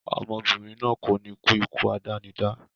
Obìnrin náà kò ní kú ikú àdánidá